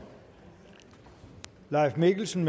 leif mikkelsen